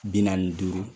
Bi naani ni duuru